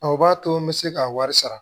Aw b'a to n bɛ se ka wari sara